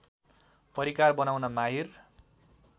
परिकार बनाउन माहिर